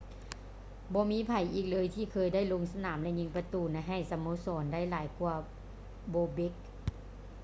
ບໍ່ມີໃຜອີກເລີຍ ທີ່ເຄີຍໄດ້ລົງສະໜາມ ຫຼື ຍິງປະຕູ ໃຫ້ສະໂມສອນ ໄດ້ຫຼາຍກວ່າ bobek